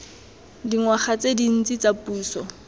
dingwaga tse dintsi tsa puso